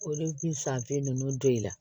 Olu bi san kelen ninnu don i la